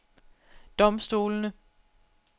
domstolene